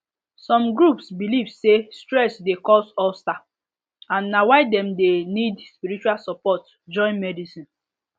some groups believe say stress dey cause ulcer and na why dem dey need spiritual support join medicine